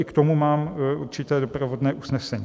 I k tomu mám určité doprovodné usnesení.